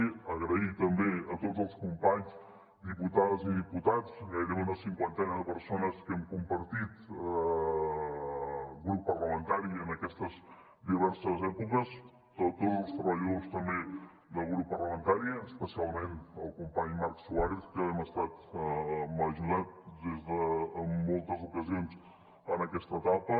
donar les gràcies també a tots els companys diputades i diputats gairebé una cinquantena de persones que hem compartit grup parlamentari en aquestes diverses èpoques a tots els treballadors també del grup parlamentari especialment al company marc suàrez que m’ha ajudat en moltes ocasions en aquesta etapa